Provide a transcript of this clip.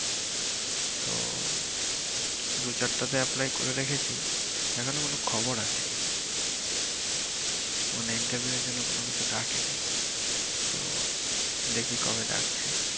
তো দু চারটাতে apply করে রেখেছি এখনো কোন খবর আসেনি মানে interview এর জন্য কোনকিছু ডাকেনি তো দেখি কবে ডাকছে